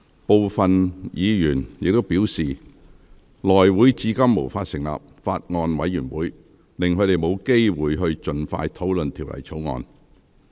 部分議員亦表示，內會至今無法成立法案委員會，令他們沒有機會盡快討論《條例草案》。